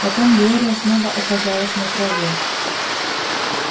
потом глория снова оказалась на траве